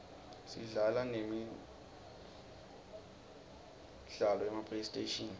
sidlala nemi sla lo yema playstation